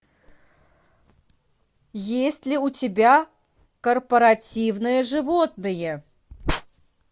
есть ли у тебя корпоративные животные